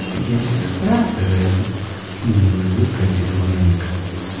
я сестра тереза с невинной улыбкой ответила манник